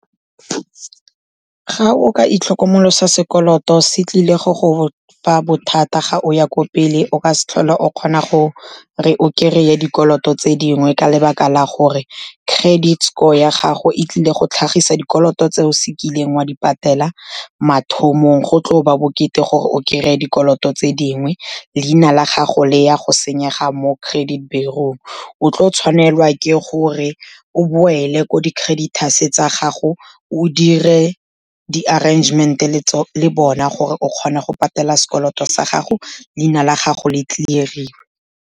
Ga o ka itlhokomolosa sekoloto se tlile go go fa bothata ga o ya kwa pele, o ka se tlhole o kgona gore o kry-e dikoloto tse dingwe ka lebaka la gore credit score ya gago e tlile go tlhagisa dikoloto tse o se kileng wa di patela mathomong, go tlo ba bokete gore o kry-e dikoloto tse dingwe, leina la gago le ya go senyega mo credit bureau. O tlo tshwanelwa ke gore o boele ko di-creditors-e tsa gago, o dire di-arrangement-e le bona gore o kgona go patela sekoloto sa gago, leina la gago le clear-iwe.